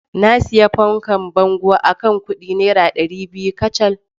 Na sayi fankar bango akan kudi naira dari biyu kacal.